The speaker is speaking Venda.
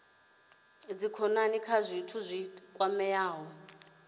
dzikhonani kha zwithu zwi kwamaho